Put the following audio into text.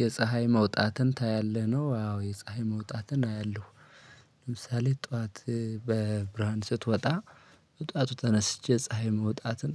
የፀሀይ መውጣትን ታያለህ ነው? አዎ የፀሀይ መውጣትን አያለሁ። ምሳሌ ጧት በብርሃን ስትወጣ በጧቱ ተነስቼ ፀሀይ መውጣትን